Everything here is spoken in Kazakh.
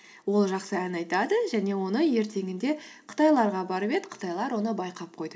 ол жақсы ән айтады және оны ертеңінде қытайларға барып еді қытайлар оны байқап қойды